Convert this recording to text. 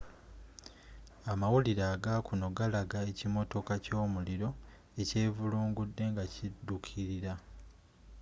amawulire agakuno galaga ekimotoka kyomuliro ekyevulungudde nga kiduukilira